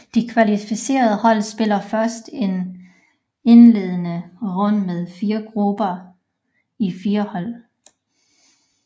De kvalificerede hold spillede først en indledende runde med 4 grupper á 4 hold